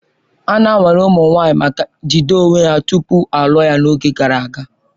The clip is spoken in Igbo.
Ana nwale ụmụ nwanyị maka jide onwe ha tupu a lụọ ha n'oge gara aga